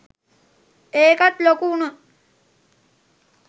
ඒකත් ලොකු වුන